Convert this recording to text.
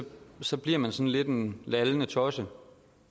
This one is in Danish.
så bliver man sådan lidt en lallende tosse